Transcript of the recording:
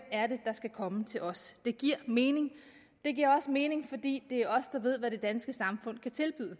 er der skal komme til os det giver mening det giver også mening fordi det er os der ved hvad det danske samfund kan tilbyde